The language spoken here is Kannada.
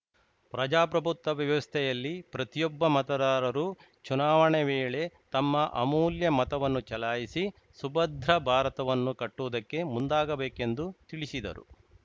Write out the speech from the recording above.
ಪ್ರಜಾಪ್ರಭುತ್ವ ವ್ಯವಸ್ಥೆಯಲ್ಲಿ ಪ್ರತಿಯೊಬ್ಬ ಮತದಾರರು ಚುನಾವಣೆ ವೇಳೆ ತಮ್ಮ ಅಮೂಲ್ಯ ಮತವನ್ನು ಚಲಾಯಿಸಿ ಸುಭದ್ರ ಭಾರತವನ್ನು ಕಟ್ಟುವುದಕ್ಕೆ ಮುಂದಾಗಬೇಕೆಂದು ತಿಳಿಸಿದರು